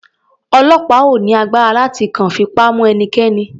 Ọlọ́pàá ò ní agbára láti kàn fipá mu ẹnikẹ́ni.